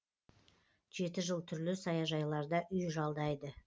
жеті жыл түрлі саяжайларда үй жалдайды